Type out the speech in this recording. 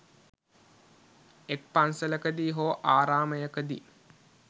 එක් පන්සලකදී හෝ ආරාමයකදී